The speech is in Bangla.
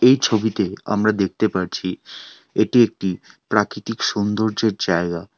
এই ছবিতে আমরা দেখতে পারছি এটি একটি প্রাকৃতিক সৌন্দর্যের জায়গা।